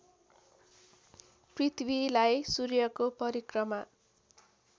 पृथ्वीलाई सूर्यको परिक्रमा